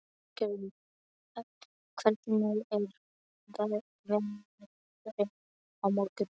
Æsgerður, hvernig er veðrið á morgun?